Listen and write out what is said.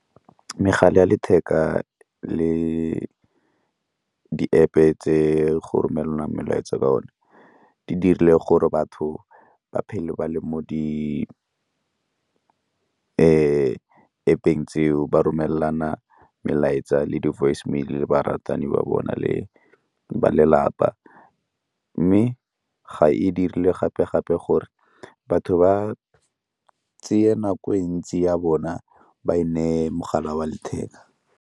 Megala ya letheka le di-App-e tse go romelelang melaetsa ka one di dirile gore batho ba phele ba le mo di-App-eng tseo ba romelana melaetsa le di-voicemail-e le baratani ba bona le ba lelapa, mme ga e dire le gape gape gore batho ba tseye nako e ntsi ya bona ba e neye mogala wa letheka.